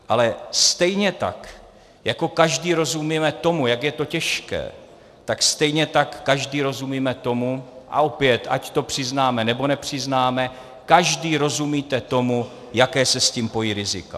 Ale stejně tak jako každý rozumíme tomu, jak je to těžké, tak stejně tak každý rozumíme tomu, a opět ať to přiznáme, nebo nepřiznáme, každý rozumíte tomu, jaká se s tím pojí rizika.